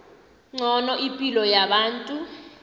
ngcono ipilo yabantu